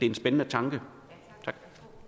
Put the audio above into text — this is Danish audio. en spændende tanke tak